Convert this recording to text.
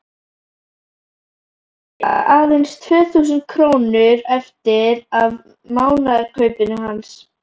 Þau eiga aðeins tvö þúsund krónur eftir af mánaðarkaupinu hans.